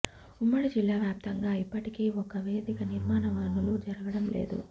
ఉమ్మడి జిల్లా వ్యాప్తంగా ఇప్పటికీ ఒక్క వేదిక నిర్మాణ పనులు జరగడం లేదు